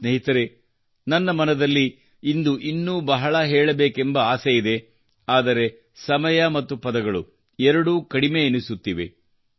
ಸ್ನೇಹಿತರೇ ನನ್ನ ಮನದಲ್ಲಿ ಇಂದು ಇನ್ನೂ ಬಹಳ ಹೇಳಬೇಕೆಂಬ ಆಸೆ ಇದೆ ಆದರೆ ಸಮಯ ಮತ್ತು ಪದಗಳು ಎರಡೂ ಕಡಿಮೆ ಎನಿಸುತ್ತಿದೆ